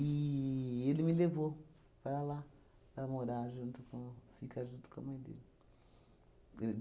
ele me levou para lá, para morar junto com ficar junto com a mãe dele. Ele